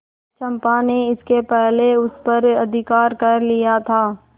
चंपा ने इसके पहले उस पर अधिकार कर लिया था